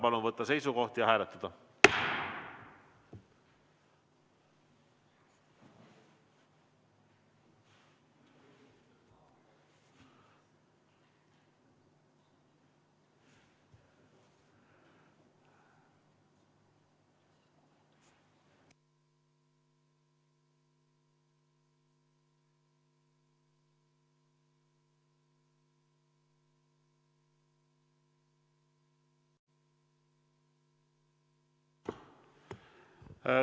Palun võtta seisukoht ja hääletada!